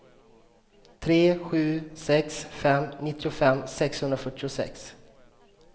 tre sju sex fem nittiofem sexhundrafyrtiosex